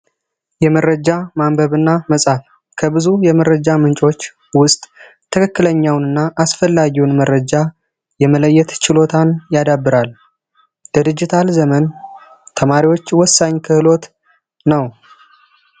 የመረጃ ማንበብና መጻፍ ከብዙ የመረጃ ምንጮች ውስጥ ትክክለኛውና አስፈላጊውን መረጃ የመለየት ችሎታን ያዳብራሉ ድርጅታል ዘመን ተማሪዎች ወሳኝ ክህሎት ነው